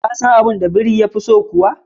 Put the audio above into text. ka san abun da biri yafi so kuwa?